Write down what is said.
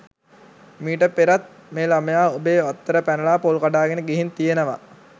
මීට පෙරත් මේ ළමයා ඔබේ වත්තට පැනලා පොල් කඩාගෙන ගිහින් තියෙනවා